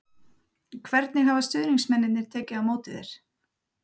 Hvernig hafa stuðningsmennirnir tekið á móti þér?